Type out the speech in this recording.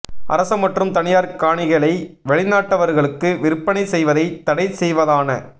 அரச மற்றும் தனியார் காணிகளை வெளிநாட்டவர்களுக்கு விற்பனை செய்வதை தடை செய்வதான